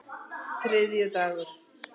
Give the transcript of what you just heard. þriðjudagur